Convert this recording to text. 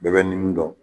Bɛɛ bɛ nimin dɔn